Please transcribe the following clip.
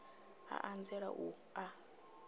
a a nzela u a